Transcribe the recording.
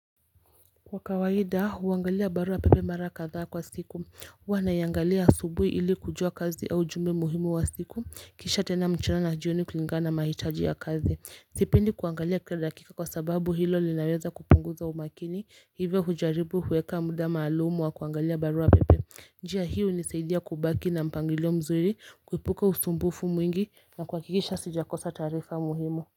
Kwa kawaida huangalia barua pepe mara kadha kwa siku huwa naiangalia asubuhi ili kujua kazi au jumbe muhimu ya siku kisha tena mchana na jioni kulingana na mahitaji ya kazi sipendi kuangalia kila dakika kwa sababu hilo linaweza kupunguza umakini hivyo hujaribu kuweka muda maalumu wa kuangalia barua pepe njia hiyo hunisaidia kubaki na mpangilio mzuri kuibuka usumbufu mwingi na kuhakikisha sijakosa taarifa muhimu.